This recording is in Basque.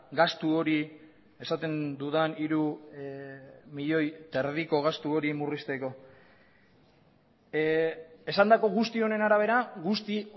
gastu hori esaten dudan hiru milioi eta erdiko gastu hori murrizteko esandako guzti honen arabera guzti